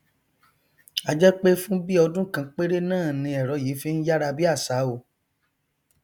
a jẹ pé fún bíi ọdún kan péré náà ni ẹrọ yìí fi n yára bí àṣá o